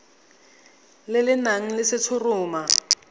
le le nang le letshoroma